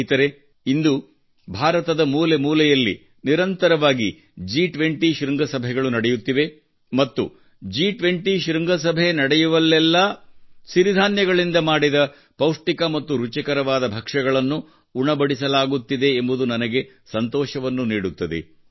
ಸ್ನೇಹಿತರೇ ಇಂದು ಭಾರತದ ಮೂಲೆ ಮೂಲೆಯಲ್ಲಿ ನಿರಂತರವಾಗಿ G20 ಶೃಂಗಸಭೆಗಳು ನಡೆಯುತ್ತಿವೆ ಮತ್ತು G20 ಶೃಂಗಸಭೆ ನಡೆಯುವಲ್ಲೆಲ್ಲಾ ಸಿರಿಧಾನ್ಯಗಳಿಂದ ಮಾಡಿದ ಪೌಷ್ಟಿಕ ಮತ್ತು ರುಚಿಕರವಾದ ಭಕ್ಷ್ಯಗಳನ್ನು ಉಣಬಡಿಸಲಾಗುತ್ತಿದೆ ಎಂಬುದು ನನಗೆ ಸಂತೋಷವನ್ನು ನೀಡುತ್ತದೆ